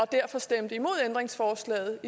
derfor stemte imod ændringsforslaget